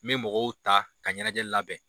N be mɔgɔw ta ka ɲanajɛ labɛn.